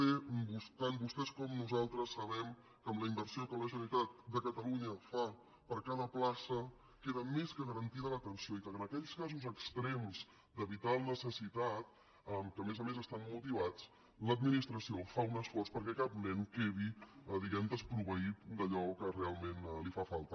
d tant vostès com nosaltres sabem que amb la inversió que la generalitat de catalunya fa per a cada plaça queda més que garantida l’atenció i que en aquells casos extrems de vital necessitat que a més a més estan motivats l’administració fa un esforç perquè cap nen quedi diguem ne desproveït d’allò que realment li fa falta